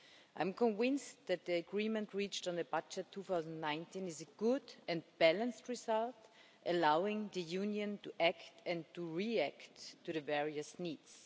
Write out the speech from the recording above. I am convinced that the agreement reached on the 2019 budget is a good and balanced result, allowing the Union to act and to react to the various needs.